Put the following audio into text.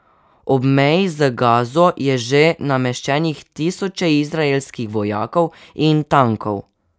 Ob meji z Gazo je že nameščenih tisoče izraelskih vojakov in tankov.